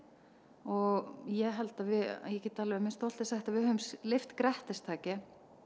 og ég ég get með stolti sagt að við höfum lyft grettistaki